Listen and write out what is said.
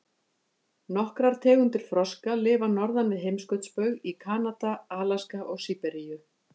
Nokkrar tegundir froska lifa norðan við heimskautsbaug, í Kanada, Alaska og Síberíu.